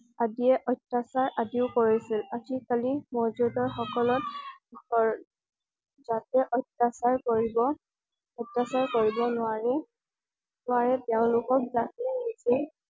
আদিয়ে অত্যাচাৰ আজিও কৰিছিল। আজি কালি মৌজাদাৰ সকলক বৰ যাতে অত্যাচাৰ কৰিব অত্যাচাৰ কৰিব নোৱাৰে নোৱাৰে তেওঁলোকক যাতে